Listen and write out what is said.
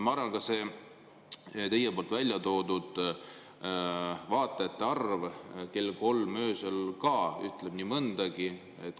Ma arvan, ka see teie väljatoodud vaatajate arv kell kolm öösel ütleb nii mõndagi.